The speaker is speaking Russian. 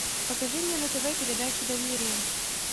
покажи мне на тв передачу доверие